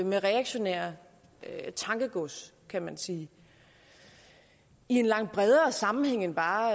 med reaktionært tankegods kan man sige i en langt bredere sammenhæng end bare